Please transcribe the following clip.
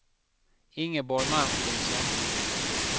Ingeborg Martinsson